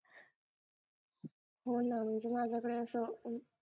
हो ना म्हणजे माझ्याकडे असं